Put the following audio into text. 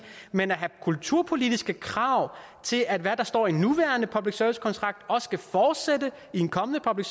men at have kulturpolitiske krav til at hvad der står i den nuværende public service kontrakt også skal fortsætte i en kommende public